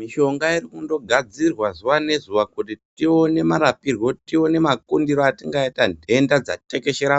Mishonga irikundogadzirwa zuva nezuva kuti tione marapirwo tione makundiro atingaita nhenda dzatekeshera